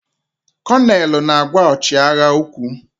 Konelu na-agwa ọchịagha okwu.